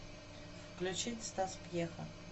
включить стас пьеха